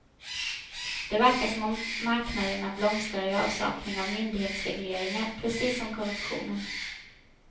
Det verkar som om marknaderna blomstrar i avsaknad av myndighetsregleringar, precis som korruptionen.